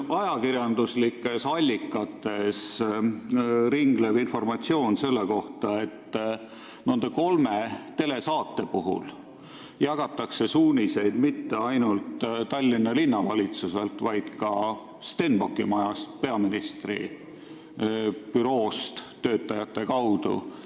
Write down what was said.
Ajakirjanduslikes allikates ringleb informatsioon, et nende kolme telesaate puhul jagatakse suuniseid mitte ainult Tallinna Linnavalitsusest, vaid ka Stenbocki majast, peaministri büroo töötajate kaudu.